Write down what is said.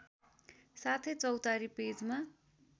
साथै चौतारी पेजमा